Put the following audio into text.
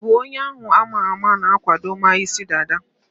Ị bụ onye ahu ama ama na-akwadoma isi dada?